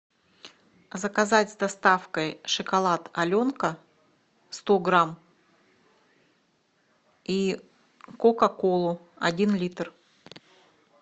заказать с доставкой шоколад аленка сто грамм и кока колу один литр